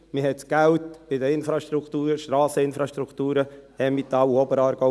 Man platzierte das Geld in die Infrastrukturen, Strasseninfrastrukturen im Emmental und Oberaargau.